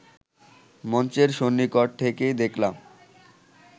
মঞ্চের সন্নিকট থেকেই দেখলাম